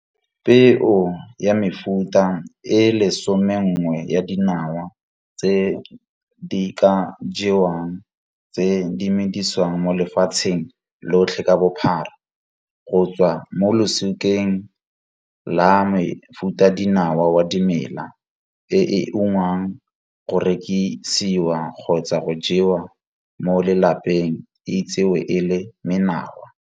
Peo ya mefuta e le somenngwe ya dinawa tse di ka jewang tse di medisiwang mo lefatsheng lotlhe ka bophara, go tswa mo losikeng la mofutadinawa wa dimela, e e ungwang go rekisiwa kgotsa go jewa mo lelapeng e itsewe e le menawa.